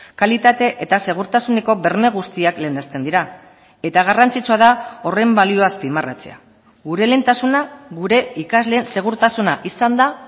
kalitate eta segurtasuneko berme guztiak lehenesten dira eta garrantzitsua da horren balioa azpimarratzea gure lehentasuna gure ikasleen segurtasuna izan da